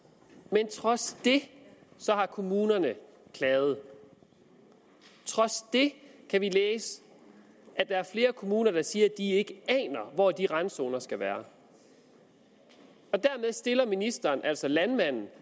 men trods det har kommunerne klaget trods det kan vi læse at der er flere kommuner der siger at de ikke aner hvor de randzoner skal være dermed stiller ministeren altså landmanden